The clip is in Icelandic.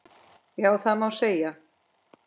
Já, það má segja.